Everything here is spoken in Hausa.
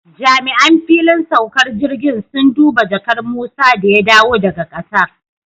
Jami'an fillin saukar jirgin sun duba jakar Musa da ya dawo daga Qatar